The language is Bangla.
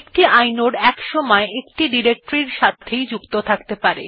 একটি ইনোড একসময় একটি ডিরেকটরি এর সাথে যুক্ত থাকে